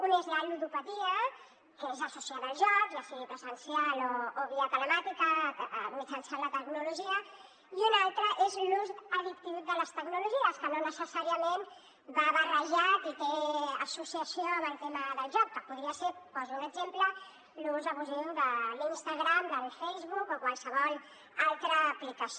un és la ludopatia que és associada al joc ja sigui presencial o via telemàtica mitjançant la tecnologia i una altra és l’ús addictiu de les tecnologies que no necessàriament va barrejat i té associació amb el tema del joc que podria ser poso un exemple l’ús abusiu de l’instagram del facebook o qualsevol altra aplicació